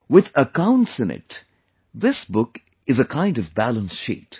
With accounts in it, this book is a kind of balance sheet